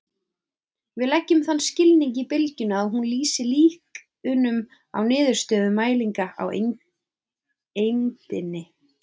Við leggjum þann skilning í bylgjuna að hún lýsi líkunum á niðurstöðum mælinga á eindinni.